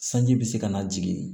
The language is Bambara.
Sanji bɛ se ka na jigin